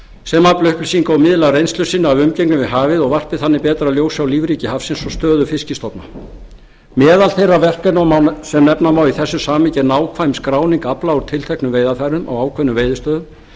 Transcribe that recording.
sem afli upplýsinga og miðli af reynslu sinni af umgengni við hafið og varpi þannig betra ljósi á lífríki hafsins og stöðu fiskstofna meðal þeirra verkefna sem nefna má í þessu samhengi er nákvæm skráning afla úr tilteknum veiðarfærum á ákveðnum veiðistöðum